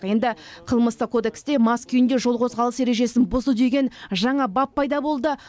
енді қылмыстық кодексте мас күйінде жол қозғалыс ережесін бұзды деген жаңа бап пайда болды